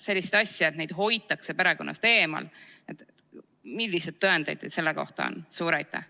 Sellist asja, et neid hoitakse perekonnast eemal – milliseid tõendeid teil selle kohta on?